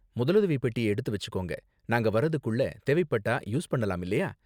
முதலுதவி பெட்டியை எடுத்து வெச்சுக்கோங்க, நாங்க வர்றதுக்குள்ள தேவைப்பட்டா யூஸ் பண்ணலாம் இல்லயா?